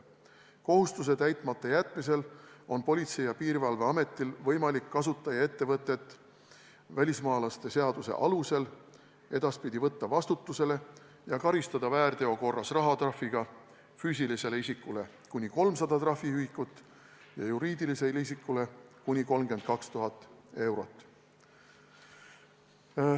Selle kohustuse täitmata jätmisel on Politsei- ja Piirivalveametil võimalik kasutajaettevõtet välismaalaste seaduse alusel edaspidi võtta vastutusele ja karistada väärteo korras rahatrahviga füüsilisele isikule kuni 300 trahviühikut ja juriidilisele isikule kuni 32 000 eurot.